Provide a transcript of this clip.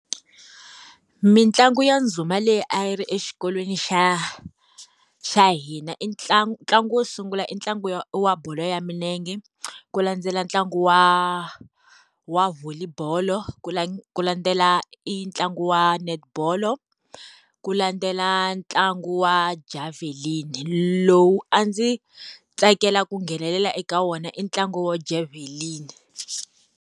Mitlangu ya ndhuma leyi a yi ri exikolweni xa xa hina, i ntlangu wo sungula i ya wa wa bolo ya milenge, ku landzela ntlangu wa wa volley bolo, ku ku landzela i ntlangu wa netibolo, ku landzela ntlangu wa javhelini lowu a ndzi tsakela ku nghenelela eka wona i ntlangu wo javelin.